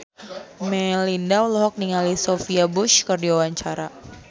Melinda olohok ningali Sophia Bush keur diwawancara